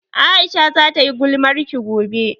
Aisha za ta yi gulmarki gobe